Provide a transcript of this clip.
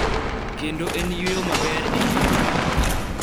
Kendo en yweyo maber e ngima wa.